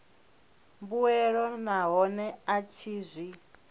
mbuelo nahone a tshi zwi